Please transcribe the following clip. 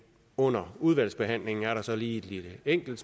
under udvalgsbehandlingen er der så lige et enkelt